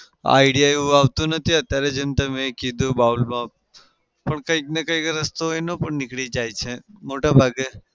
idea એવો આવતો નથી અત્યારે જેમ તમે કીધું bowl માં પણ કંઈકને કંઈક રસ્તો એનો પણ નીકળી જાય છે મોટા ભાગે.